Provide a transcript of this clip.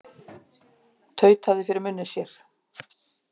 Tautaði fyrir munni sér.